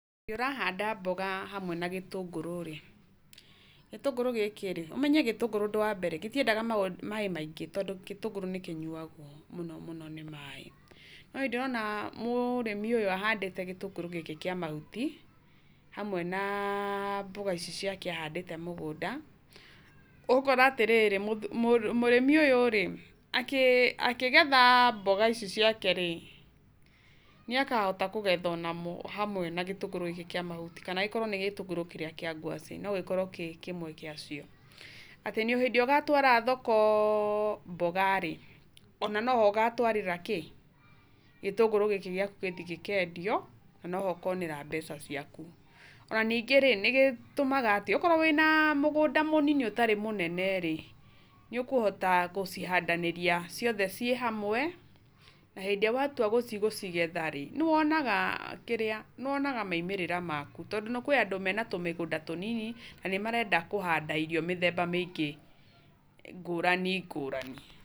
Hĩndĩ ĩrĩa ũrahanda mboga hamwe na gĩtũngũrũ rĩ, gĩtũngũrũ gĩkĩ rĩ, ũmenya gĩtũngũrũ ũndũ wambere gĩtiendaga maaĩ maingĩ, tondũ gĩtũngũrũ nĩ kĩnyuagwo mũno mũno nĩ maaĩ. No nĩndĩrona mũrĩmi ũyũ ahandĩte gĩtũngũrũ gĩkĩ kĩa mahuti, hamwe na mboga ici ciake ahandĩte mũgũnda, ũgakora atĩrĩrĩ, mũrĩmi ũyũ rĩ, akĩgetha mboga ici ciake rĩ, nĩ akahota kũgetha hamwe na gĩtũngũrũ gĩkĩ gĩake kĩa mahuti, kana akorwo nĩ gĩtũngũrũ kĩrĩa kĩa ngwacĩ, noakorwo arĩ kĩmwe gĩ acio. Atĩ hĩndĩ ĩrĩa ũgatwara thoko mboga rĩ, ona noho ũgatwara kĩ? Gĩtũngũrũ gĩkĩ gĩaku gĩthiĩ gĩkendio, na no ho ũkonera mboga ciaku. Na nĩwonaga atĩrĩrĩ, okorwo wĩna mũgũnda mũnini ũtarĩ mũnene rĩ, nĩ ũkũhota gũcihandanĩria ciothe ciĩhamwe, na hindĩ ĩrĩa watua nĩgũthiĩ gũcigetharĩ, nĩwonaga kĩrĩa, nĩwonaga maumĩrĩra maku. Tondũ kwĩna andũ mena tũmĩgũnda tũnini, na nĩmarenda kũhanda irio mĩthemba mĩingĩ ngũrani ngũrani.